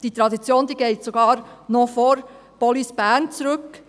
Diese Tradition reicht sogar noch vor Police Bern zurück.